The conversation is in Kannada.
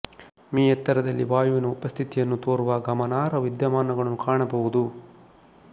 ಮೀ ಎತ್ತರದಲ್ಲಿ ವಾಯುವಿನ ಉಪಸ್ಥಿತಿಯನ್ನು ತೋರುವ ಗಮನಾರ್ಹ ವಿದ್ಯಮಾನಗಳನ್ನು ಕಾಣಬಹುದು